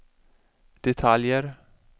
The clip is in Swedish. detaljer